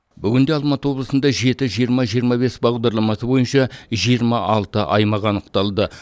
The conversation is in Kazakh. бүгінде алматы облысында жеті жиырма жиырма бес бағдарламасы бойынша жиырма алты аймақ анықталды